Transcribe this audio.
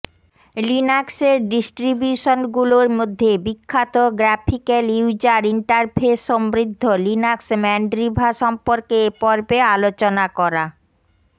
লিনাক্সের ডিস্ট্রিবিউশনগুলোর মধ্যে বিখ্যাত গ্রাফিক্যাল ইউজার ইন্টারফেস সমৃদ্ধ লিনাক্স ম্যানড্রিভা সম্পর্কে এ পর্বে আলোচনা করা